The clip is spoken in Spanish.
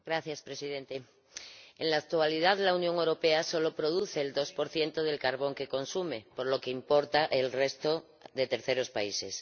Señor Presidente, en la actualidad la Unión Europea solo produce el 2 del carbón que consume, por lo que importa el resto de terceros países.